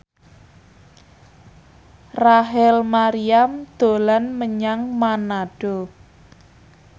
Rachel Maryam dolan menyang Manado